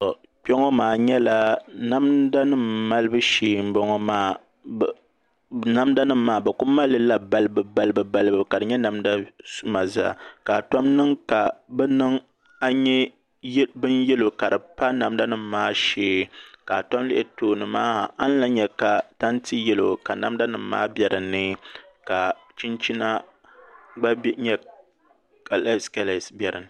Kpɛ ŋɔ maa nyɛla namda nim malibu shee n bɔŋɔ maa namda nim maa bi ku malilila balibu balibu ka di nyɛ namda suma zaa ka di tom n niŋ ka a nyɛ bin yɛlo ka namda nim maa bɛ dinni ka chinchina gba nyɛ kalɛs kalɛs bɛ dinni